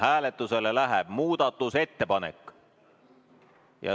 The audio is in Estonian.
Hääletusele läheb muudatusettepanek.